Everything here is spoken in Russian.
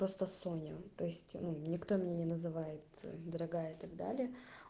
просто соня то есть никто меня не называется дорогая так далее